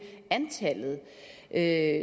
at